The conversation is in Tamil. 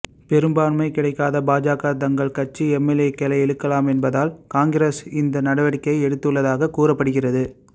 பெரும்பான்மை கிடைக்காத பாஜக தங்கள் கட்சி எம்எல்ஏக்களை இழுக்கலாம் என்பதால் காங்கிரஸ் இந்த நடவடிக்கையை எடுத்துள்ளதாக கூறப்படுகிறது